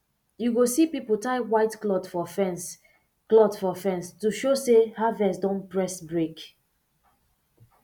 you go see people tie white cloth for fence cloth for fence to show say harvest don press brake